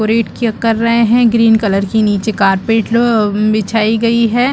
Decorate की कर रहै है ग्रीन कलर की नीचे कारपेट आा बिछाई गई हैं।